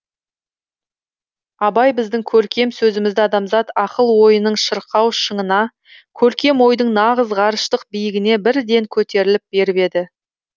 абай біздің көркем сөзімізді адамзат ақыл ойының шырқау шыңына көркем ойдың нағыз ғарыштық биігіне бірден көтеріліп беріп еді